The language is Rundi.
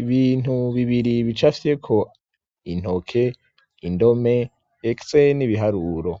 ibintu bibiri bicafye ko intoke indome etse n'ibiharuro